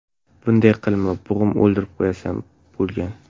Bunday qilma, bo‘g‘ib o‘ldirib qo‘yasan”, bo‘lgan.